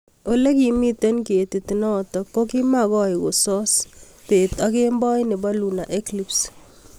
olekimitei ketit notok kokimakoi koso bett ak kemboi nebo Lunar Eclipse.